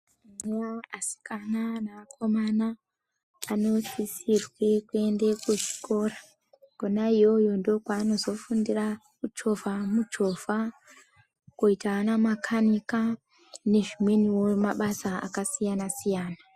Asikana neakomana anosisirwe kuende kuzvikora kona iyoyo ndokwaanozofundira kuchovha muchovha, koite ana makanika nezvimweniwo mabasa akasiyana siyana.